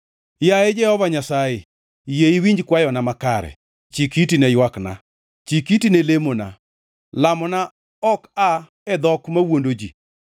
Yaye Jehova Nyasaye, yie iwinj kwayona makare; chik iti ne ywakna, chik iti ne lemona, lamona ok aa e dhok mawuondo ji.